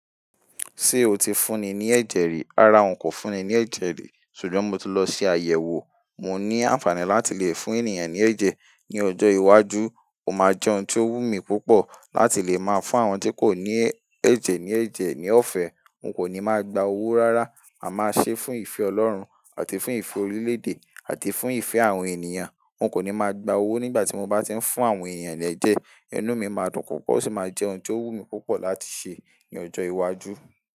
Ṣé o ti fún ni ní ẹ̀jẹ̀ rí? Rárá, n kò fún ni ní ẹ̀jẹ̀ rí, ṣùgbọ́n mo ti lọ sí àyẹ̀wò. Mo ní àǹfààní láti lè fún ènìyàn ní ẹ̀jẹ̀. Ni ọjọ́ iwájú, ó máa jẹ́ ohun tó wù mí púpọ̀ láti lè máa fún àwọn tí kò ní ẹ̀jẹ̀ ní ẹ̀jẹ̀ ní ọ̀fẹ́. N kò ní máa gba owó rárá, ma màá ṣe é fún ìfẹ́ Ọlọ́run àti fún ìfẹ́ orílédé àti fún ìfẹ́ àwọn ènìyàn. N kò ní máa gba owó nígbà tí mo bá ti ń fún àwọn ènìyàn l'ẹjẹ̀. Inú mi máa dùn púpọ̀ ó sì máa jẹ́ ohun tó wùn mí púpọ̀ láti ṣe ní ọjọ́ iwájú.